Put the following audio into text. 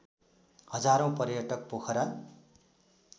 हजारौँ पर्यटक पोखरा